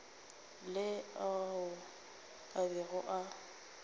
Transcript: le ao a bego a